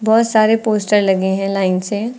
बहुत सारे पोस्टर लगे हैं लाइन से।